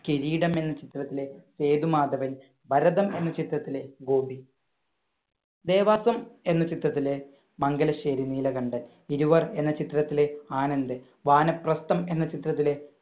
കിരീടം എന്ന ചിത്രത്തിലെ സേതുമാധവൻ, ഭരതം എന്ന ചിത്രത്തിലെ ഗോപി, ദേവാസുരം എന്ന ചിത്രത്തിലെ മംഗലശ്ശേരി നീലകണ്ഠൻ, ഇരുവർ എന്ന ചിത്രത്തിലെ ആനന്ദ്, വാനപ്രസ്ഥം എന്ന ചിത്രത്തിലെ